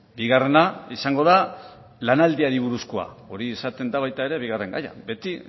bigarrena izango da lanaldiari buruzkoa hori izaten da baita ere bigarren gaia beti